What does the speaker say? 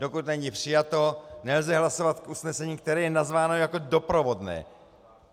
Dokud není přijato, nelze hlasovat k usnesení, které je nazváno jako doprovodné.